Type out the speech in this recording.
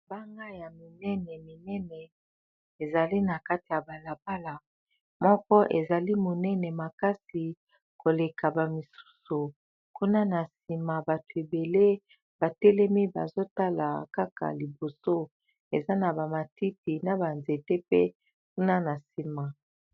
Mabanga ya minene minene ezali na kati ya balabala moko ezali monene makasi koleka bamisusu kuna na sima bato ebele batelemi bazotala kaka liboso eza na bamatiti na banzete pe kuna na sima